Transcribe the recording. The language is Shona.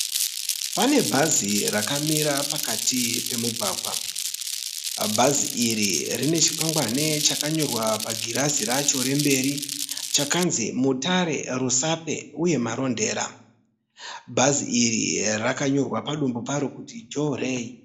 Pane bhazi rakamira pakati pomugwagwa. Bhazi iri rine chikwangwani chakanyorwa pagirazi raro remberi kunzi "Mutare Rusape uye Marondera". Bhazi riri rakanyorwa padumbu paro kunzi "Jorray."